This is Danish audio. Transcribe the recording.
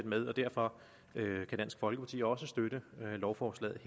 med og derfor kan dansk folkeparti også støtte lovforslaget